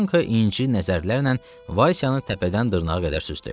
Yanko inci nəzərlərlə Vaysanı təpədən dırnağa qədər süzdü.